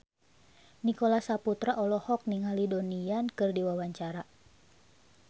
Nicholas Saputra olohok ningali Donnie Yan keur diwawancara